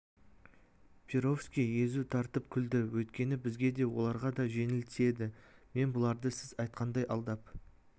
перовский езу тартып күлді өйткені бізге де оларға да жеңіл тиеді мен бұларды сіз айтқандай алдап